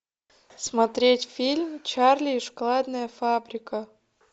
смотреть фильм чарли и шоколадная фабрика